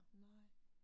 Nej